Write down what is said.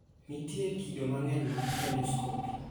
Nitie kido mang'eny mag endoscopy.